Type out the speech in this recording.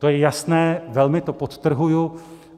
To je jasné, velmi to podtrhuji.